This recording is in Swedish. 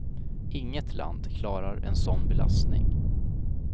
Inget land klarar en sådan belastning.